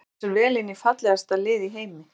Passar vel inn í fallegasta lið í heimi.